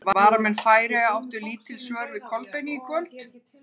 Varnarmenn Færeyja áttu lítil svör við Kolbeini í kvöld.